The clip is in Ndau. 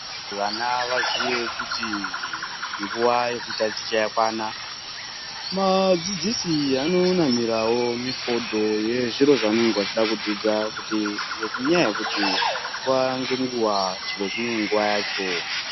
Vana vazive kuti nguva yekutaticha yakwana vadzidzisi vanonamirawo mifodho yezviro zvavanenge vachida kudzidza ngenyaya uekuti nguva nenguva chimwe nechimwe chine nguva yacho.